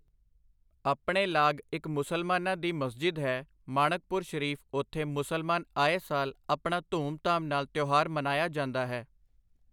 ਆਪਣੇ ਲਾਗ ਇੱਕ ਮੁਸਲਮਾਨਾਂ ਦੀ ਮਸਜਿਦ ਹੈ ਮਾਣਕਪੁਰ ਸ਼ਰੀਫ਼ ਉੱਥੇ ਮੁਸਲਮਾਨ ਆਏ ਸਾਲ ਆਪਣਾ ਧੂਮ ਧਾਮ ਨਾਲ ਤਿਉਹਾਰ ਮਨਾਇਆ ਜਾਂਦਾ ਹੈ।